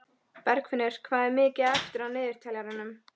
Bergfinnur, hvað er mikið eftir af niðurteljaranum?